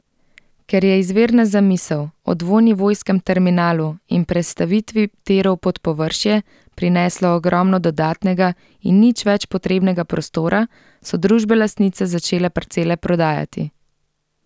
Ker je izvirna zamisel o dvonivojskem terminalu in prestavitvi tirov pod površje, prineslo ogromno dodatnega in nič več potrebnega prostora, so družbe lastnice začele parcele prodajati.